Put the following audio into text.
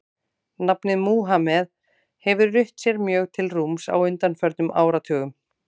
Nafnið Múhameð hefur rutt sér mjög til rúms á undanförnum áratugum.